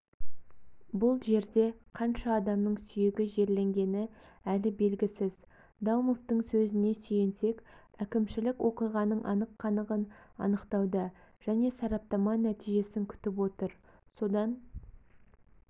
бұл жерде қанша адамның сүйегі жерленгені әлі белгісіз даумовтың сөзіне сүйенсек әкімшілік оқиғаның анық-қанығын анықтауда және сараптама нәтижесін күтіп отыр содан